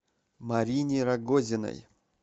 марине рогозиной